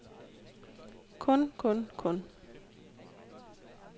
kun kun kun